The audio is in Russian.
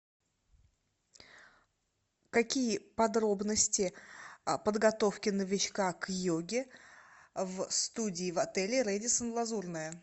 какие подробности подготовки новичка к йоге в студии в отеле рэдисон лазурное